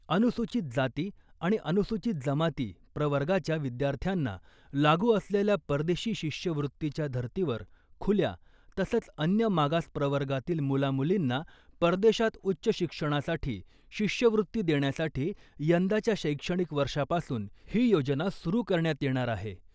अनुसूचित जाती आणि अनुसूचित जमाती प्रवर्गाच्या विद्यार्थ्यांना लागू असलेल्या परदेशी शिष्यवृत्तीच्या धर्तीवर खुल्या तसंच , अन्य मागास प्रवर्गातील मुलामुलींना परदेशात उच्च शिक्षणासाठी शिष्यवृत्ती देण्यासाठी यंदाच्या शैक्षणिक वर्षापासून ही योजना सुरु करण्यात येणार आहे .